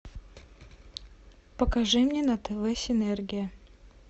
покажи мне на тв синергия